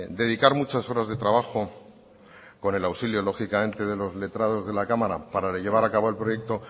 dedicar muchas horas de trabajo con el auxilio lógicamente de los letrados de la cámara para llevar a cabo el proyecto